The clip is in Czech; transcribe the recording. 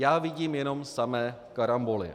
Já vidím jenom samé karamboly.